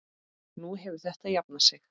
Nú hefur þetta jafnað sig.